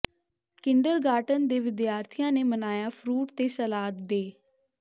kindergarten ਦੇ ਵਿਦਿਆਰਥੀਆਂ ਨੇ ਮਨਾਇਆ ਫਰੂਟ ਤੇ ਸਲਾਦ ਡੇਅ